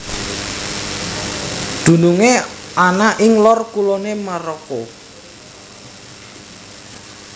Dunungé ana ing lor kuloné Maroko